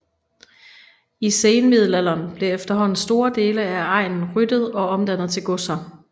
I senmiddelalderen blev eferhånden store dele af egnen ryddet og omdannet til godser